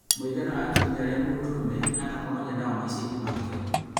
Mũigana wa atumia arĩa mũndũrũme aanakomania nao maicainĩ make